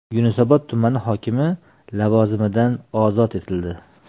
Yunusobod tumani hokimi lavozimidan ozod etildi.